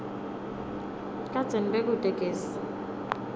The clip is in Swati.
kadzeni bekute gesi